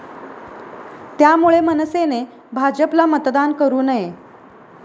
त्यामुळे मनसेने भाजपला मतदान करु नये.